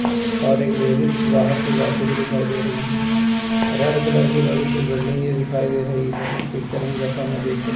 और एक लेडीज बाहर से जाती हुई दिखाई दे रही रेड कलर की बड़ी सी बिल्डिंग ये दिखाई दे रही है इस पिक्चर में जैसा मैं देख सक --